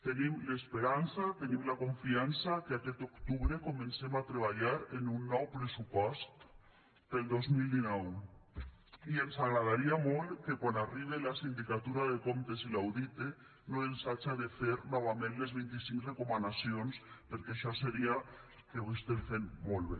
tenim l’esperança tenim la confiança que aquest octubre comencem a treballar en un nou pressupost per al dos mil dinou i ens agradaria molt que quan arribe a la sindicatura de comptes i l’audite no ens haja de fer novament les vint i cinc recomanacions perquè això seria que ho estem fent molt bé